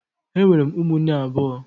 Enwere m ụmụnne abụọ